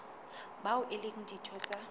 bao e leng ditho tsa